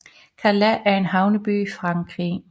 Calais er en havneby i Frankrig